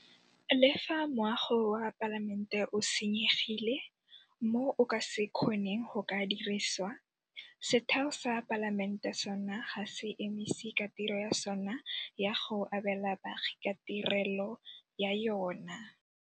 Le fa moago wa Palamente o senyegile mo o ka se kgoneng go ka dirisiwa, setheo sa Palamente sona ga se emise ka tiro ya sona ya go abela baagi ka tirelo ya yona.